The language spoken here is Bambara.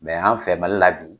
an fɛ Mali la bi